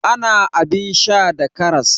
Ana abin sha da karas.